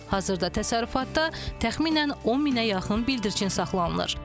Hazırda təsərrüfatda təxminən 1000-ə yaxın bildirçin saxlanılır.